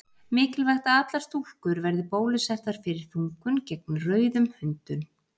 Mikilvægt að allar stúlkur verði bólusettar fyrir þungun gegn rauðum hundum.